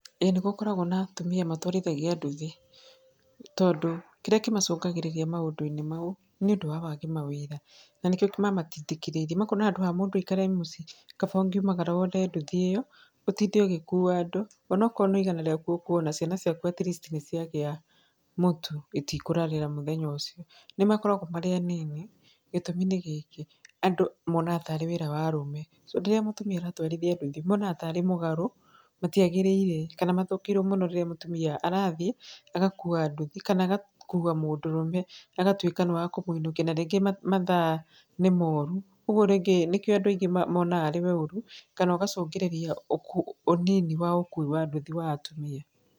Ĩĩ nĩgũkoragwo na atumia matwarithagia nduthi tondũ kĩrĩa kĩmacũngagĩrĩria maũndũ-inĩ mau nĩũndũ wa wagi mawĩra na nĩkĩo mamatindĩkĩrĩirie, makona handũ mũndũ aikare mũci kaba ũngiumagara woe nduthi ĩo ũtinde ũgĩkua andũ, onakorwo no igana rĩaku ũkuona, ciana ciaku at least nĩciagĩa mũtu itikũrarĩra mũthenya ũcio. Nĩmakoragwo marĩ anini, gĩtũmi nĩ gĩkĩ, andúũ monaga tarĩ wĩra wa arũme. Rĩrĩa mũtumia aratwarithia nduthi monaga tarĩ mũgarũ, matiagĩrĩire kana mathũkĩirwo mũno rĩrĩa mũtumia arathiĩ agakua na nduthi kana agakua mũndũrũme agatuĩka nĩwakũmũinũkia na rĩngĩ mathaa nĩ moru. Ũguo rĩngĩ nĩkĩo andũ aingĩ monaga arĩ ũru kana ũgacũngĩrĩria ũnini wa ũkui wa nduthi wa atumia.